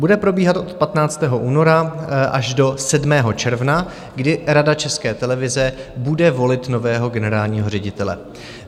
Bude probíhat od 15. února až do 7. června, kdy Rada České televize bude volit nového generálního ředitele.